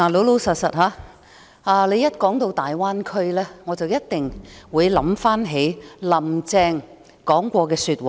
老實說，談到大灣區，我一定會想起"林鄭"說過的話。